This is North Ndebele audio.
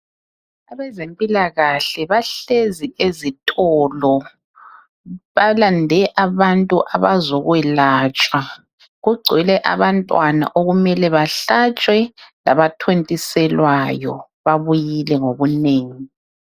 Abezempilakahle bahlezi ezitolo balande abantu abazokwelatshwa. Kugcwele abantwana okumele bahlatshwe labathontiselwayo babuyile ngobunengi.